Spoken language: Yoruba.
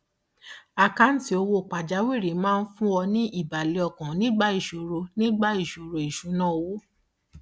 àkáǹtì owó pàjáwìrì máa ń fún ọ ní ìbàlẹ ọkàn nígbà ìṣòro nígbà ìṣòro ìṣúnná owó